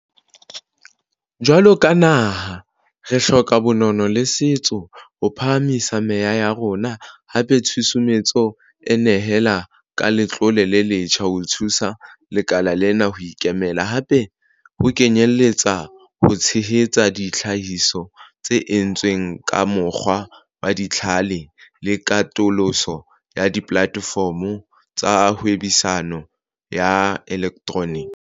Jwalo ka naha, re hloka bonono le setso ho phahamisa meya ya rona hape, tshusumetso e nehela ka letlole le letjha ho thusa lekala lena ho ikemela hape, ho kenyeletsa ho tshehetsa ditlhahiso tse entsweng ka mokgwa wa dijithale le katoloso ya dipolatefomo tsa hwebisano ya elektroniki.